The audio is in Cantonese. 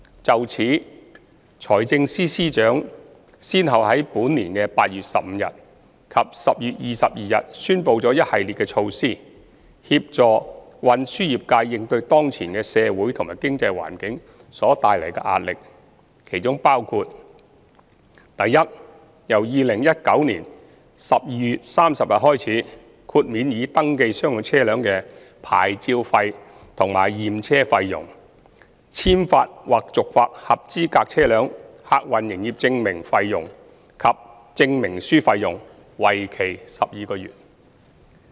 就此，財政司司長先後於本年8月15日及10月22日宣布了一系列措施，協助運輸業界應對當前的社會和經濟環境所帶來的壓力，當中包括：第一，由2019年12月30日開始，豁免已登記商用車輛的牌照費和驗車費用、簽發或續發合資格車輛客運營業證費用及證明書費用，為期12個月。